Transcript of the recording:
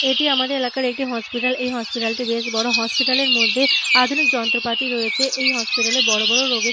এটি আমাদের এলাকার একটি হসপিটাল । এই হসপিটাল - টি বেশ বড়ো। হসপিটাল - এর মধ্যে আধুনিক যন্ত্রপাতি রয়েছে। এই হসপিটাল - এ বড় বড় রোগের --